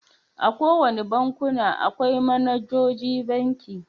A kowane bankuna, akwai managoji banki.